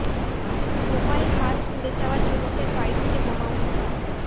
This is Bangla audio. বোমায় হাত উড়ে যাওয়া যুবকের বাড়ি থেকে বোমা উদ্ধার